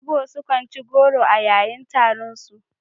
Igbo sukan ci goro a yayin taronsu.